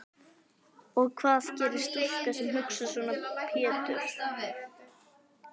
Og hvað gerir stúlka sem hugsar svona Pétur?